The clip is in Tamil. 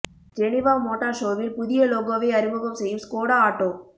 ஜெனிவா மோட்டார் ஷோவில் புதிய லோகோவை அறிமுகம் செய்யும் ஸ்கோடா ஆட்டோ